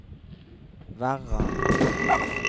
Verran